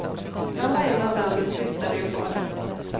Han var en av landets sista leoparder.